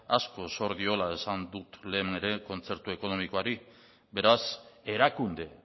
asko zor diola esan dut lehen ere kontzertu ekonomikoari beraz erakunde